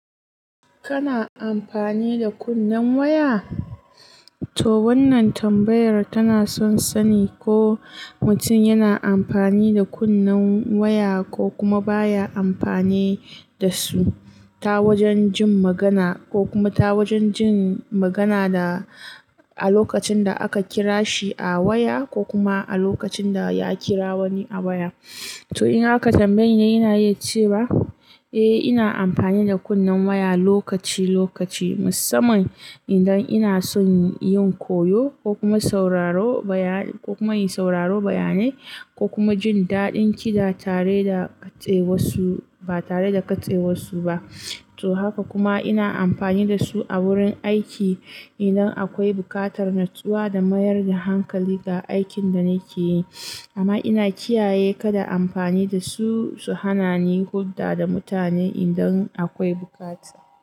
Kana amfani da kunnen waya? To wannan tambayar tana son sani ko mutum yana amfani da kunnen waya ko kuma baya amfani da su ta wajen jin magana ko kuma ta wajen jin magana da a lokacin da aka kira shi a waya ko kuma a lokacin da ya kira wani a waya. To in haka tambayina ina yace ba? Eh ina amfani da kunnen waya lokaci lokaci musamman idan ina son yin koyo ko kuma sauraro bayan-- ko kuma yin sauraro bayanai ko kuma jin daɗin kida tare da katse wasu ba tare da katse wasu ba. To haka kuma ina amfani da su a wurin aiki idan akwai buƙatar nutsuwa da mayar da hankali ga aikin da nake yi. Amma ina kiyaye kada amfani da su su hana ni hulɗa da mutane idan akwai bukata.